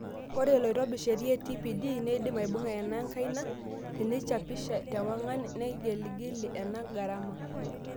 Ore loitobirr sheria e TPD, neidim aibung'a ena enkaina teneichapisha tewang'an nenegeili ena garama.